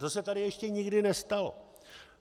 To se tady ještě nikdy nestalo.